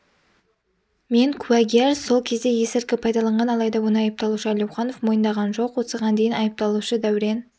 мен куәгер сол кезде есірткі пайдаланған алайда оны айыпталушы әлеуханов мойындаған жоқ осыған дейін айыпталушы дәурен